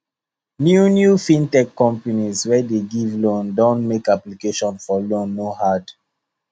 new new fintech companies wey dey give loan don make application for loan no hard